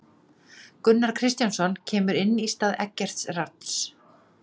Gunnar Kristjánsson kemur inn í stað Eggerts Rafns.